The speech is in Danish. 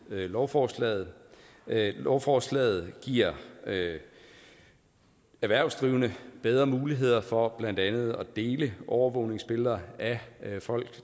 lovforslaget lovforslaget giver erhvervsdrivende bedre muligheder for blandt andet at dele overvågningsbilleder af folk